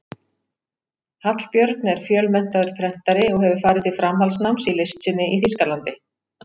Hallbjörn er fjölmenntaður prentari og hefur farið til framhaldsnáms í list sinni í Þýskalandi.